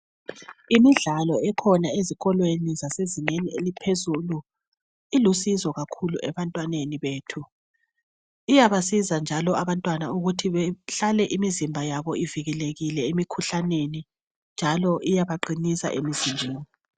Imidlalo ekhona ezikolweni zasezingeni elingaphezulu ilusizo kakhulu ebantwaneni bethu iyabasiza njalo abantwana ukuthi behlale imizimba yabo ivikelekile emikhuhlaneni njalo iyabaqinisa emzimbeni